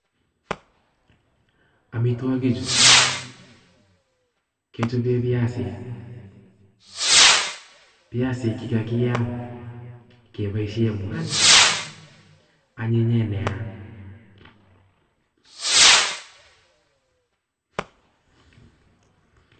Amitwokichu kechobe biasik, biasik chekakiyam keboishen mwanik, anyinyen neaa.